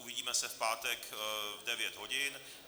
Uvidíme se v pátek v 9 hodin.